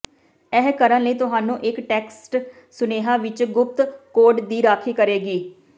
ਇਹ ਕਰਨ ਲਈ ਤੁਹਾਨੂੰ ਇੱਕ ਟੈਕਸਟ ਸੁਨੇਹੇ ਵਿੱਚ ਗੁਪਤ ਕੋਡ ਦੀ ਰਾਖੀ ਕਰੇਗੀ